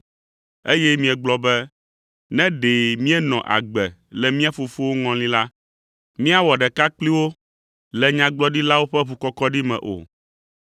eye miegblɔ be, ‘Ne ɖe míenɔ agbe le mía fofowo ŋɔli la, míawɔ ɖeka kpli wo le nyagblɔɖilawo ƒe ʋukɔkɔɖi me o’